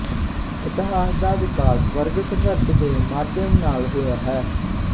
ਇਤਹਾਸ ਦਾ ਵਿਕਾਸ ਵਰਗ ਸੰਘਰਸ਼ ਦੇ ਮਾਧਿਅਮ ਨਾਲ ਹੋਇਆ ਹੈ